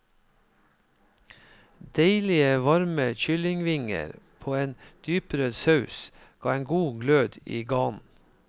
Deilige varme kyllingvinger på en dyprød saus ga en god glød i ganen.